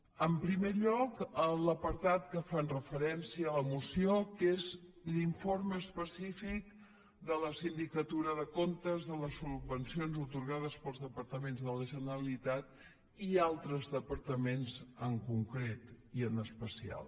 en primer lloc l’apartat que fa referència a la moció que és l’informe específic de la sindicatura de comptes de les subvencions atorgades pels departaments de la generalitat i altres departaments en concret i en especial